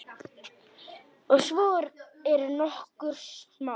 Og svo eru nokkur smámál.